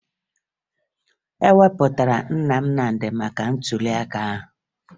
E wepụtara Nna Nnamdị maka ntụliaka ahụ